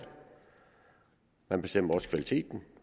man bestemmer også kvaliteten